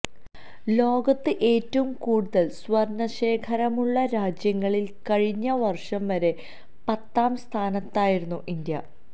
ലോകത്ത് ഏറ്റവും കൂടുതല് സ്വര്ണശേഖരമുള്ള രാജ്യങ്ങളില് കഴിഞ്ഞ വര്ഷം വരെ പത്താം സ്ഥാനത്തായിരുന്നു ഇന്ത്യ